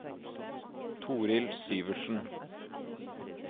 Torhild Syvertsen